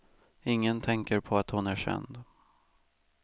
Ingen tänker på att hon är känd.